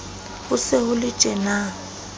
ho se ho le tjena